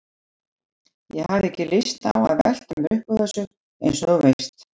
Ég hafði ekki lyst á að velta mér upp úr þessu, eins og þú veist.